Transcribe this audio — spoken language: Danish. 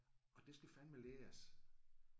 Og det skal fandeme læres